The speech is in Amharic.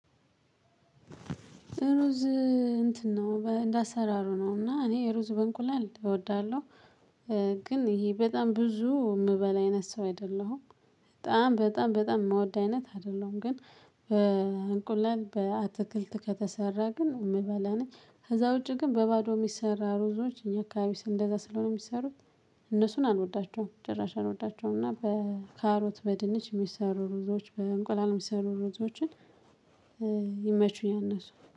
ሩዝ እንትን ነው እንደ አሰራሩ ነው እና እኔ ሩዝ በእንቁላል እወዳለሁ። ግን ይሄ በጣም ብዙ የምበል አይነት ሰው አይደለሁም። በጣም በጣም በጣም የምወድ አይነት አይደለም ግን። በእንቁላል በአትክልት ከተሰራ ግን የምበላ ነኝ ከዛ ውጪ ግን በባዶ የሚሰራ ሩዞች እኛ አካባቢ ስንት እንደዛ ስለሆነ የሚሰሩት። እነሱን አልወዳቸውም ጭራሽ አልወዳቸውም እና በካሮት በድንች የሚሰሩ ሩዞዎች በእንቁላል የሚሰሩ ሩዞዎችን። ይመቹኛል እነሱ